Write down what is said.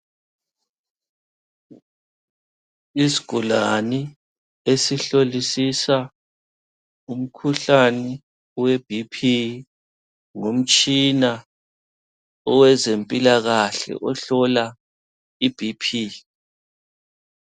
Isigulani esihlolisisa umkhuhlane weBp ngomtshina owezempilakahle ohlola iBP.